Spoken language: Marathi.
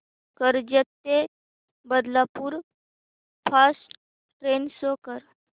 कर्जत ते बदलापूर फास्ट ट्रेन शो कर